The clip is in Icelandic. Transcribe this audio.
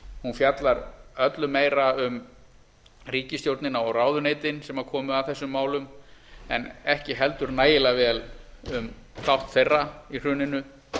hún fjallar öllu meira um ríkisstjórnina og ráðuneytin sem komu að þessum málum en ekki heldur nægilega vel um þátt þeirra í hruninu